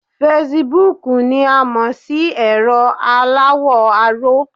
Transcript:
Fasibúùkù ni a mọ̀ sí ẹ̀rọ aláwọ̀ aró